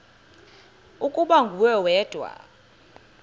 ukuba nguwe wedwa